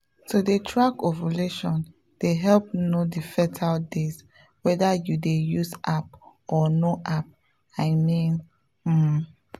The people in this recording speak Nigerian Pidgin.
to dey track ovulation dey help know the fertile days whether you dey use app or no app i mean pause.